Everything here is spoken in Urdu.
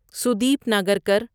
سودیپ ناگرکر